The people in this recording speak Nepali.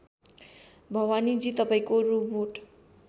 भवानीजी तपाईँको रोबोट